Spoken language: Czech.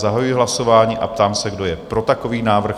Zahajuji hlasování a ptám se, kdo je pro takový návrh?